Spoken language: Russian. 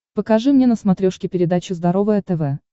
покажи мне на смотрешке передачу здоровое тв